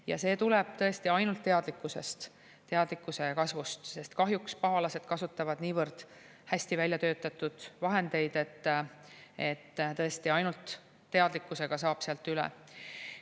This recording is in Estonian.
Ja see tuleb tõesti ainult teadlikkusest, teadlikkuse kasvust, sest kahjuks pahalased kasutavad niivõrd hästi välja töötatud vahendeid, et tõesti ainult teadlikkusega saab sealt üle.